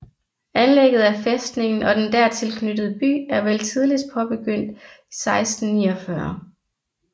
Anlægget af fæstningen og den dertil knyttede by er vel tidligst påbegyndt 1649